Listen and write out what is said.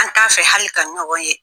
An t'a fɛ hali ka ɲɔgɔn ye!